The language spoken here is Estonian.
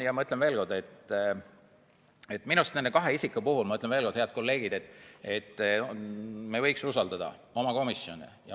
Ja ma ütlen veel kord, et minu arust nende kahe isiku puhul, head kolleegid, me võiks usaldada oma komisjone.